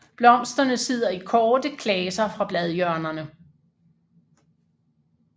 Blomsterne sidder i korte klaser fra bladhjørnerne